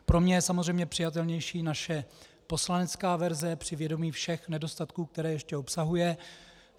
Pro mě je samozřejmě přijatelnější naše poslanecká verze při vědomí všech nedostatků, které ještě obsahuje.